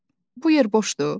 "Bu yer boşdur?"